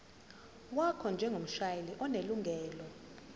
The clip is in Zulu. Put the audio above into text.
wakho njengomshayeli onelungelo